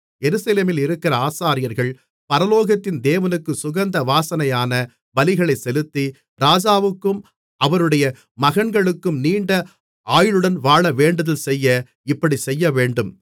எருசலேமில் இருக்கிற ஆசாரியர்கள் பரலோகத்தின் தேவனுக்கு சுகந்த வாசனையான பலிகளைச் செலுத்தி ராஜாவுக்கும் அவருடைய மகன்களுக்கும் நீண்ட ஆயுளுடன் வாழ வேண்டுதல் செய்ய இப்படிச் செய்யவேண்டும்